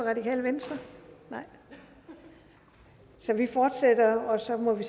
radikale venstre nej så vi fortsætter og så må vi